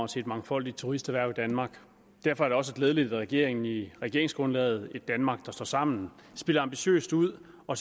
til et mangfoldigt turisterhverv i danmark derfor er det også glædeligt at regeringen i regeringsgrundlaget et danmark der står sammen spiller ambitiøst ud og